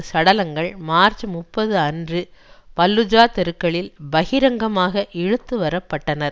சடலங்கள் மார்ச் முப்பதுஅன்று பல்லூஜா தெருக்களில் பகிரங்கமாக இழுத்துவரப்பட்டனர்